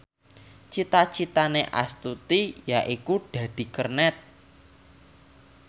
cita citane Astuti yaiku dadi kernet